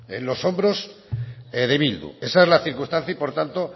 en los hombros de bildu esa es la circunstancia y por tanto